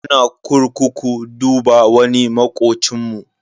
Muna kurkuku duba wani makocinmu.